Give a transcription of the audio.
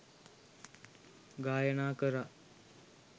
ගායනා කරා.